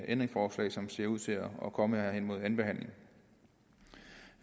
ændringsforslag som ser ud til at komme her hen imod anden behandling